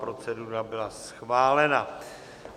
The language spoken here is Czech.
Procedura byla schválena.